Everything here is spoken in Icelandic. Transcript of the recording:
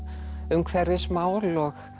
umhverfismál og